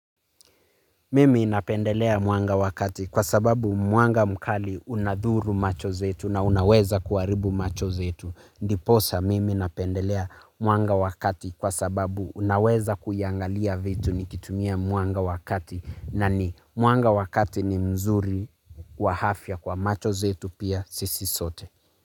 Mimiinapendelea mwanga wakati kwa sababu mwanga mkali unadhuru macho zetu na unaweza kuaribu macho zetu. Ndiposa mimi napendelea mwanga wakati kwa sababu unaweza kuyangalia vitu nikitumia mwanga wakati na ni mwanga wakati ni mzuri wahafya kwa macho zetu pia sisi sote.